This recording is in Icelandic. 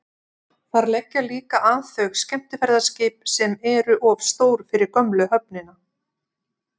þar leggja líka að þau skemmtiferðaskip sem eru of stór fyrir gömlu höfnina